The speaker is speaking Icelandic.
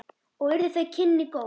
Og urðu þau kynni góð.